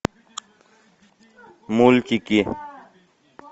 мультики